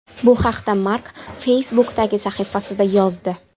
Bu haqda Mark Facebook’dagi sahifasida yozdi.